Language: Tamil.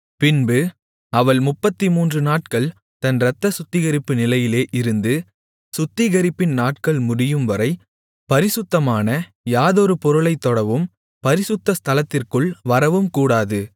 பின்பு அவள் முப்பத்துமூன்று நாட்கள் தன் இரத்தச் சுத்திகரிப்பு நிலையிலே இருந்து சுத்திகரிப்பின் நாட்கள் முடியும்வரை பரிசுத்தமான யாதொரு பொருளைத் தொடவும் பரிசுத்த ஸ்தலத்திற்குள் வரவும் கூடாது